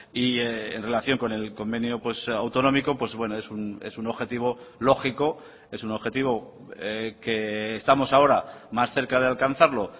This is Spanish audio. y en relación con el convenio autonómico pues es un objetivo lógico es un objetivo que estamos ahora más cerca de alcanzarlo